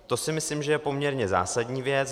To si myslím, že je poměrně zásadní věc.